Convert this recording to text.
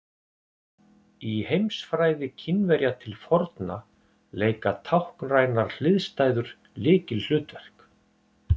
Í heimsfræði Kínverja til forna leika táknrænar hliðstæður lykilhlutverk.